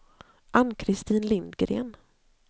Ann-Kristin Lindgren